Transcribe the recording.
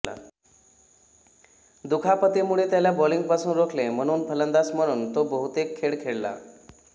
दुखापतीमुळे त्याला बॉलिंगपासून रोखले म्हणून फलंदाज म्हणून तो बहुतेक खेळ खेळला